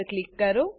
પર ક્લિક કરો